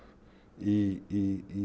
í